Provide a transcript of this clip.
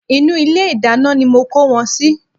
Inú ilé ìdáná ni mo kó wọn sí